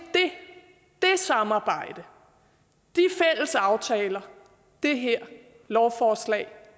det samarbejde og aftaler det her lovforslag